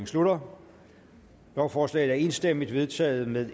slutter lovforslaget er enstemmigt vedtaget med